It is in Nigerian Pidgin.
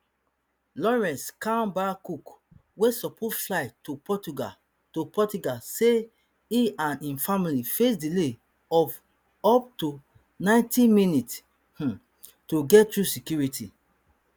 laurence kemballcook wey suppose fly to portugal to portugal say e and im family face delay of up to ninety minutes um to get through security